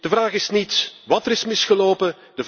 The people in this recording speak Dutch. De vraag is niet wat er is misgelopen.